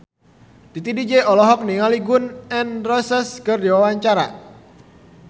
Titi DJ olohok ningali Gun N Roses keur diwawancara